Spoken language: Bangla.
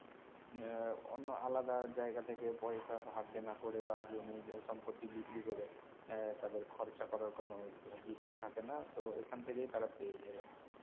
এর অন্য আলাদা জায়গা থেকে পয়সা ধার দেনা করে বা জমি যে সম্পত্তি বিক্রি করে এর তাদের খরচা করার কোনো যুক্তি থাকে না তো এখান থেকেই তারা পেয়ে যায় আরকি